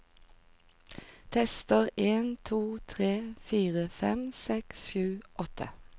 Tester en to tre fire fem seks sju åtte